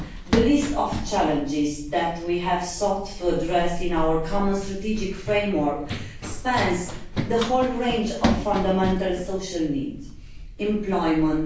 The list of challenges that we have sought to address in our common strategic framework spans the whole range of fundamental social needs employment